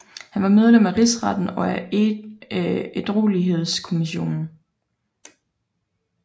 Han var medlem af Rigsretten og af Ædruelighedskommissionen